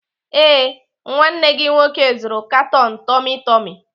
Ee, nwanne gị nwoke zụrụ katon tummy tummy.